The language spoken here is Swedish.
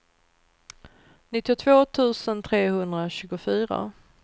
nittiotvå tusen trehundratjugofyra